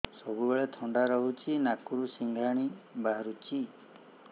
ସବୁବେଳେ ଥଣ୍ଡା ରହୁଛି ନାକରୁ ସିଙ୍ଗାଣି ବାହାରୁଚି